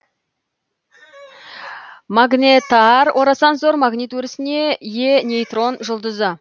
магнетар орасан зор магнит өрісіне ие нейтрон жұлдызы